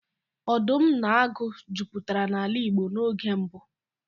Ọdụm na agụ jupụtara n'ala Igbo n'oge mbụ.